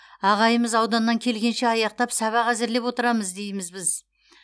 ағайымыз ауданнан келгенше аяқтап сабақ әзірлеп отырамыз дейміз біз